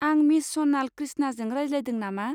आं मिस स'नाल क्रिश्नाजों रायज्लायदों नामा?